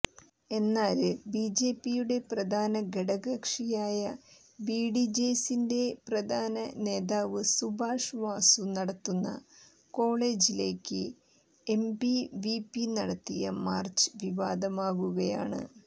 എന്നാല് ബിജെപിയുടെ പ്രധാന ഘടകകക്ഷിയായ ബിഡിജെഎസിന്റെ പ്രധാന നേതാവ് സുബാഷ് വാസു നടത്തുന്ന കോളജിലേക്ക് എബിവിപി നടത്തിയ മാര്ച്ച് വിവാദമാകുകയാണ്